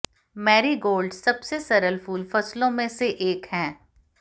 marigolds सबसे सरल फूल फसलों में से एक हैं